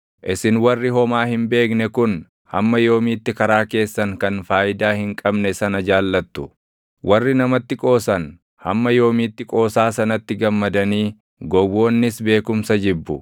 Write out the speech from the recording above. “Isin warri homaa hin beekne kun hamma yoomiitti karaa keessan kan faayidaa hin qabne sana jaallattu? Warri namatti qoosan hamma yoomiitti qoosaa sanatti gammadanii gowwoonnis beekumsa jibbu?